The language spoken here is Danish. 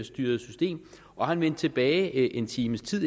styret system og han vendte tilbage en times tid